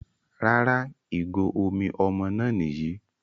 Rárá ìgò omi ọmọ náà Nìyí